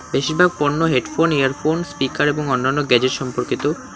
বেশিরভাগ পণ্য headphone earphone speaker এবং অন্যান্য গেজেট সম্পর্কিত।